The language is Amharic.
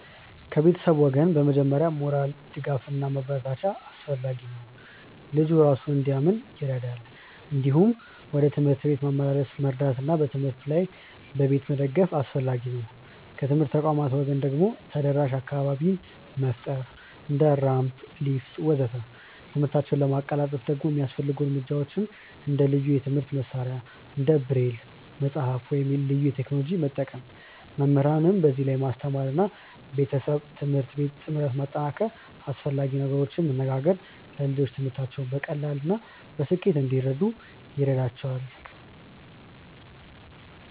ከቤተሰብ ወገን በመጀመሪያ ሞራል ድጋፍ እና ማበረታቻ አስፈላጊ ነው፣ ልጁ እራሱን እንዲያምን ይረዳል። እንዲሁም ወደ ትምህርት ቤት ማመላለስ መርዳት እና በትምህርት ላይ በቤት መደገፍ አስፈላጊ ነው። ከትምህርት ተቋማት ወገን ደግሞ ተደራሽ አካባቢ መፍጠር እንደ ራምፕ፣ ሊፍት ወዘተ..።ትምህርታቸውን ለማቀላጠፍ ደግሞ የሚያስፈልጉ እርምጃዎች እንደ ልዩ የትምህርት መሳሪያዎች እንደ ብሬል መጽሐፍ ወይም ልዩ ቴክኖሎጂ መጠቀም፣ መምህራንን በዚህ ላይ ማስተማር እና ቤተሰብ-ትምህርት ቤት ጥምረት ማጠናከር እና አስፈላጊ ነገሮችን መነጋገር ለልጆቹ ትምህርታቸውን በቀላሉ እና በስኬት እንዲከታተሉ ይረዳቸዋል።